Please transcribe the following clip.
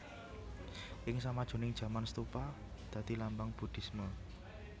Ing samajuning jaman stupa dadi lambang buhdisme